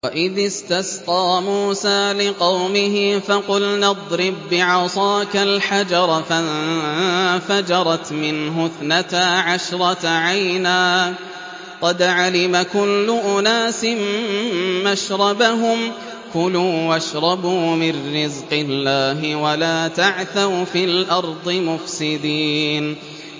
۞ وَإِذِ اسْتَسْقَىٰ مُوسَىٰ لِقَوْمِهِ فَقُلْنَا اضْرِب بِّعَصَاكَ الْحَجَرَ ۖ فَانفَجَرَتْ مِنْهُ اثْنَتَا عَشْرَةَ عَيْنًا ۖ قَدْ عَلِمَ كُلُّ أُنَاسٍ مَّشْرَبَهُمْ ۖ كُلُوا وَاشْرَبُوا مِن رِّزْقِ اللَّهِ وَلَا تَعْثَوْا فِي الْأَرْضِ مُفْسِدِينَ